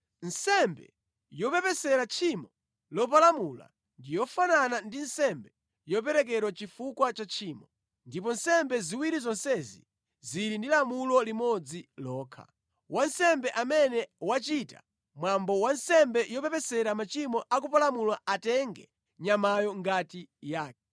“ ‘Nsembe yopepesera tchimo lopalamula ndi yofanana ndi nsembe yoperekedwa chifukwa cha tchimo. Ndipo nsembe ziwiri zonsezi zili ndi lamulo limodzi lokha. Wansembe amene wachita mwambo wa nsembe yopepesera machimo a kupalamula atenge nyamayo ngati yake.